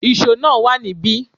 Íṣo náà wá níbi